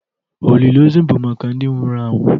Olili ozu bụ maka ndị nwụrụ anwụ